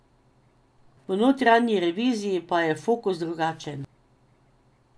V notranji reviziji pa je fokus drugačen.